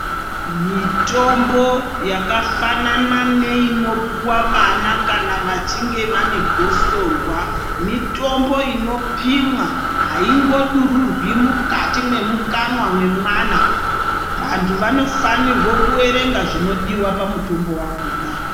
Mitombo yakafanana neinopuwa vana kana vachinge vaine gosorwa. Mitombo inopimwa. Aingodururwi mukati memukanwa mwemwana. Vantu vanofanirwa kuerenga zvinodiwa pamutombo wakhona.